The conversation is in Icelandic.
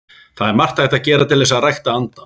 Það er margt hægt að gera til þess að rækta andann.